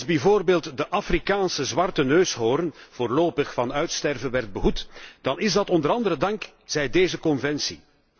Als bijvoorbeeld de Afrikaanse zwarte neushoorn voorlopig van uitsterven werd behoed, dan is dat onder andere dankzij deze conventie.